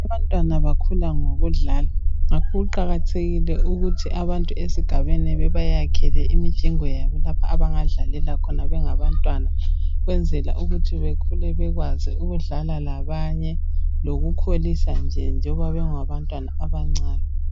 Abantwana bakhula ngokudlala ngakho kuqakathekile ukuthi abantu esigabeni bebayakhele imijingo yabo lapho abangadlalela khona bengabantwana ukwenzela ukuthi bekhule bekwazi ukudlala labanye lokukholisa nje njoba bengabantwana abancane.